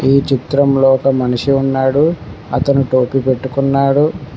ఈ చిత్రంలో ఒక మనిషి ఉన్నాడు అతను టోపీ పెట్టుకున్నాడు.